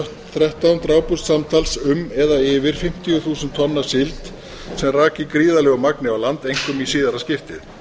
þrettán drápust samtals um eða yfir fimmtíu þúsund tonn af síld sem rak í gríðarlegu magni á land einkum í síðara skiptið